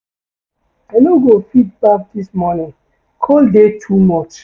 I no go fit baff dis morning, cold dey too much.